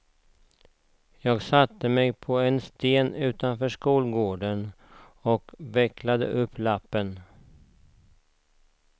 Jag satte mig på en sten utanför skolgården och vecklade upp lappen.